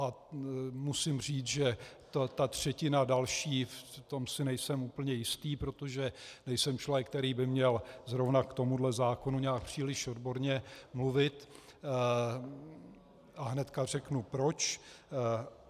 A musím říct, že ta třetina další, v tom si nejsem úplně jistý, protože nejsem člověk, který by měl zrovna k tomuto zákonu nějak příliš odborně mluvit, a hned řeknu proč.